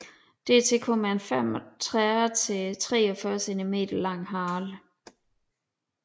Dertil kommer en 35 til 43 centimeter lang hale